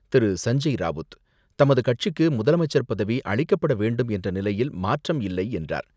திரு.சஞ்ஞய் ராவுத், தமது கட்சிக்கு முதலமைச்சர் பதவி அளிக்கப்பட வேண்டும் என்ற நிலையில் மாற்றம் இல்லை என்றார்.